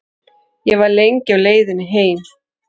Ég var lengi á leiðinni heim.